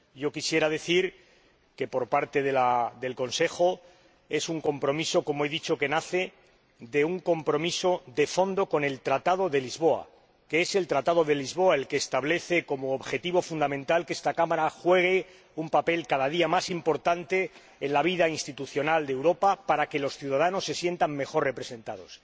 Quisiera decir que, por parte del Consejo, es un compromiso que nace de un compromiso de fondo con el Tratado de Lisboa y que es el Tratado de Lisboa el que establece como objetivo fundamental que esta Cámara juegue un papel cada día más importante en la vida institucional de Europa para que los ciudadanos se sientan mejor representados.